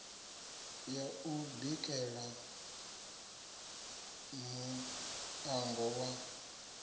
ya u bikela muṋango wa